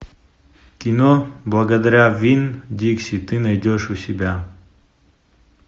кино благодаря вин дикси ты найдешь у себя